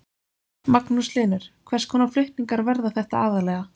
Magnús Hlynur: Hvers konar flutningar verða þetta aðallega?